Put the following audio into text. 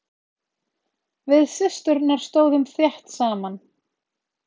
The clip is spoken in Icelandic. Við systurnar stóðum þétt saman.